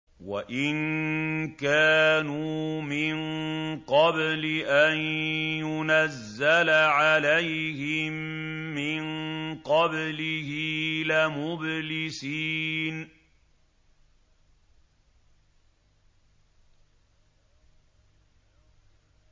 وَإِن كَانُوا مِن قَبْلِ أَن يُنَزَّلَ عَلَيْهِم مِّن قَبْلِهِ لَمُبْلِسِينَ